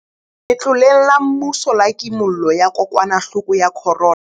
Letloleng la mmuso la Kimollo ya Kokwanahloko ya Corona.